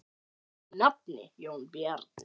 Þinn nafni, Jón Bjarni.